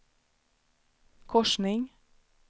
korsning